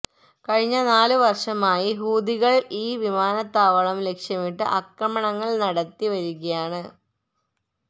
കഴിഞ്ഞ നാലുവര്ഷമായി ഹൂതികള് ഈ വിമാനത്താവളം ലക്ഷ്യമിട്ട് ആക്രമണങ്ങള് നടത്തി വരികയാണ്